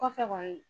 Kɔfɛ kɔni